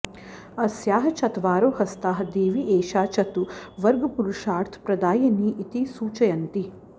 अस्याः चत्वारो हस्ताः देवी एषा चतुर्वर्गपुरुषार्थप्रदायिनी इति सूचयन्ति